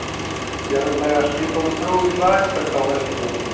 jarðlagaskipan og þróun rekbelta á vesturlandi